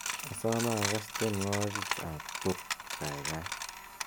asome agas tienywogikab pop kaigai